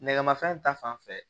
Nɛgɛmafɛn ta fanfɛ